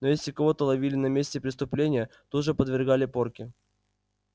но если кого-то ловили на месте преступления тут же подвергали порке